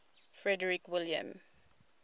frederick william